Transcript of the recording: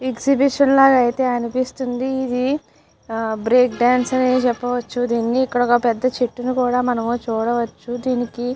Exhibition లాగా అయతె అనిపిస్తుంది ఇది హ బ్రేక్ డాన్స్ అనే చెప్పవచ్చు దీన్ని ఇక్కడ పెద్ద చెట్టుని కూడా చూడవచ్చు డినికి.